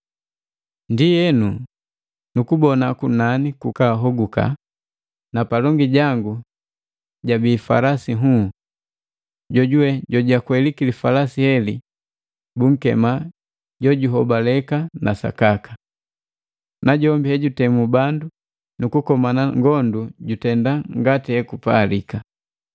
Ndienu, nukubona kunani kukahoguka na palongi jangu labii li falasi lihuu, jojuwe jojakwei li falasi bunkema Jojuhobaleka na Sakaka. Najombi hejutemu bandu nukukomana ngondu jutenda ngati ekupalika.